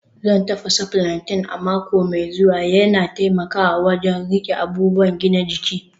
Zan tafasa plantain a mako mai zuwa, yana taimakawa wajen riƙe abubuwan gina jiki